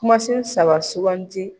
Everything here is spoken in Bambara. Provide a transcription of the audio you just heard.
Kumasen saba suganti